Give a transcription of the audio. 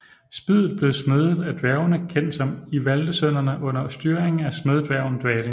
Spydet blev smedet af dværgene kendt som Ivaldesønnerne under styringen af smeddværgen Dvalin